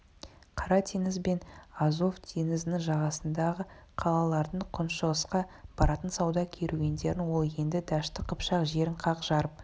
қара теңіз бен азов теңізінің жағасындағы қалалардың күншығысқа баратын сауда керуендерін ол енді дәшті қыпшақ жерін қақ жарып